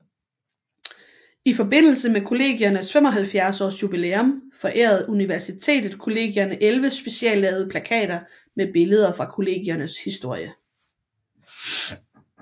I forbindelse med Kollegiernes 75 års jubilæum forærede Universitetet Kollegierne 11 speciallavede plakater med billeder fra Kollegiernes historie